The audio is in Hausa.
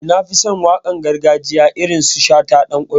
Eh, Na fi son waƙar gargajiya na irin su shata, danƙwairo.